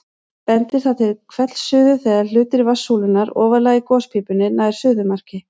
Bendir það til hvellsuðu þegar hluti vatnssúlunnar ofarlega í gospípunni nær suðumarki.